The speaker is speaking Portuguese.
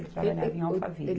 Ele trabalhava em Alphaville.